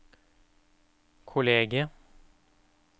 kollegiet